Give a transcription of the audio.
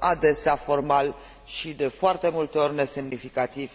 adesea formali și de foarte multe ori nesemnificativi.